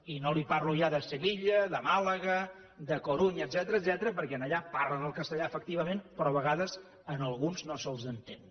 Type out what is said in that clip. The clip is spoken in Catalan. i no li parlo ja de sevilla de màlaga d’a corunha etcètera perquè allà parlen el castellà efectivament però a vegades a alguns no se’ls entén